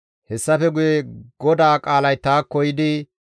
Hessafe guye GODAA qaalay taakko yiidi,